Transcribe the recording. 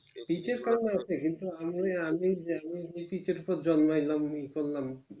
পিচের কারণ হইয়াছে কিন্তু আমি যে পিচের পর জন্মাইলাম ই করলাম